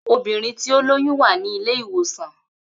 Obìnrin tí ó lóyún wà ní ilé ìwòsàn